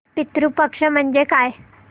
पितृ पक्ष म्हणजे काय